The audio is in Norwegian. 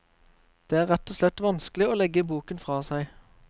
Det er rett og slett vanskelig å legge boken fra seg.